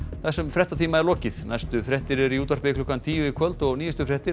þessum fréttatíma er lokið næstu fréttir eru í útvarpi klukkan tíu í kvöld og nýjustu fréttir